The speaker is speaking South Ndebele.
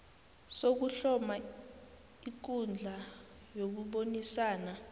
sokuhloma ikundla yokubonisana